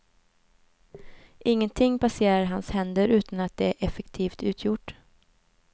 Ingenting passerar hans händer utan att det är effektivt utgjort.